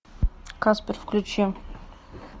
каспер включи